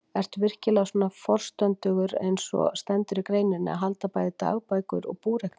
Ertu virkilega svona forstöndugur eins og stendur í greininni, að halda bæði dagbækur og búreikninga?